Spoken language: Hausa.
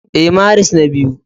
Ee, Maris na biyu